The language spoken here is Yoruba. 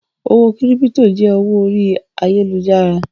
Owó kírípítò jẹ́ owó orí ayálujára.